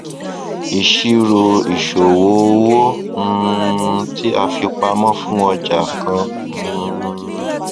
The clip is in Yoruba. ìṣirò ìṣòwò owó um tí a fi pamọ fún ọjà kan um